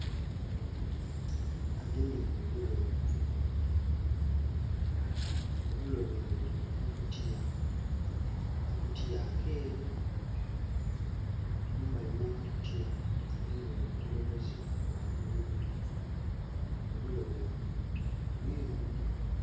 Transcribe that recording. Agemye mu bulo, obulo buno buli mu kakutiya akakutiya akeeru. Mumbali mwa kakutiya mulimu obukoloboze bwa bululu. Obulo buno buyondo